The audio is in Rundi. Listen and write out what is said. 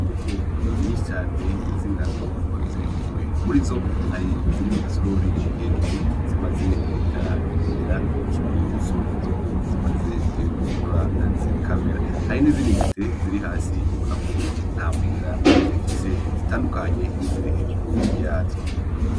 Imbuto nyinshi cane z'ingano zirikumwe. Muri izo, hari mu gasorori hejuru zimaze kugira imigera, ni ikimenyetso c'uko zimaze gukura zikamera. Hari n'izindi ntete ziri hasi ubonako ata migera zifise, zitandukanye n'iziri hejuru yazo.